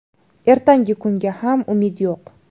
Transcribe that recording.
Ertangi kunga ham umid yo‘q.